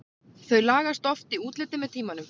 Þau lagast oft í útliti með tímanum.